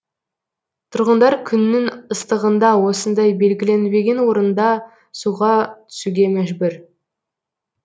тұрғындар күннің ыстығында осындай белгіленбеген орында суға түсуге мәжбүр